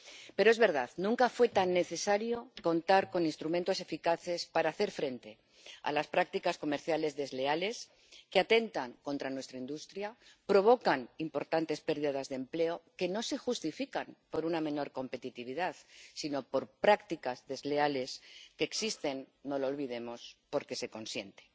Pero es verdad, nunca fue tan necesario contar con instrumentos eficaces para hacer frente a las prácticas comerciales desleales que atentan contra nuestra industria y provocan importantes pérdidas de empleo que no se justifican por una menor competitividad, sino por prácticas desleales que existen —no lo olvidemos— porque se consienten.